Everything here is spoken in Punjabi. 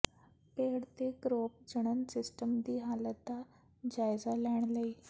ਪੇੜ ਤੇ ਕਰੋਪ ਜਣਨ ਸਿਸਟਮ ਦੀ ਹਾਲਤ ਦਾ ਜਾਇਜ਼ਾ ਲੈਣ ਲਈ